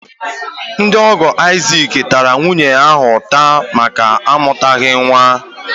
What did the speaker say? Ndị ọ̀gọ́ Isaac tara nwaanyị ahụ ụta máká amutaghi nwa